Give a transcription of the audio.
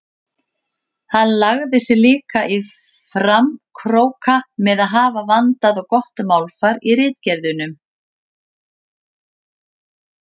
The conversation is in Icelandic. Hann lagði sig líka í framkróka með að hafa vandað og gott málfar í ritgerðunum.